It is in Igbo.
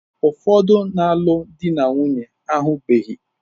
Ụfọdụ na-alụ ndị ha na-ahụbeghị.